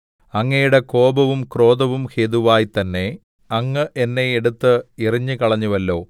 അങ്ങയുടെ കോപവും ക്രോധവും ഹേതുവായി തന്നെ അങ്ങ് എന്നെ എടുത്ത് എറിഞ്ഞുകളഞ്ഞുവല്ലോ